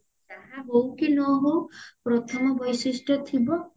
ଯାହା ହଉ କି ନ ହଉ ପ୍ରଥମ ବୈଶିଷ୍ଟ ଥିବ